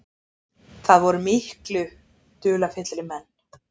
Það voru miklu dularfyllri menn.